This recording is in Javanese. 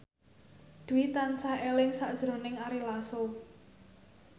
Dwi tansah eling sakjroning Ari Lasso